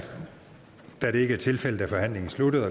da det ikke er tilfældet er forhandlingen sluttet